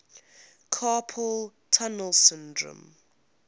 carpal tunnel syndrome